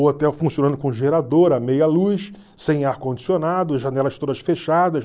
O hotel funcionando com gerador, a meia luz, sem ar-condicionado, janelas todas fechadas.